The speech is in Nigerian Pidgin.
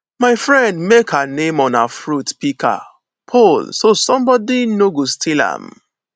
my friend mek her name on her fruit pika pole so sombodi no go steal am